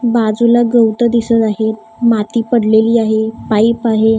बाजूला गवतं दिसत आहे माती पडलेली आहे पाईप आहे.